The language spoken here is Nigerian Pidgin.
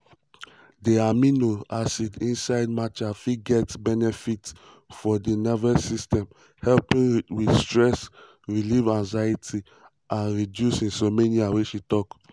"di amino acid inside matcha fit get benefits for di di nervous system helping with stress relief anxiety ease and reduce insomnia" she tok.